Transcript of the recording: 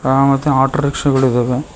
ಆ ಮತ್ತೆ auto rickshaw ಗಳಿದವೆ.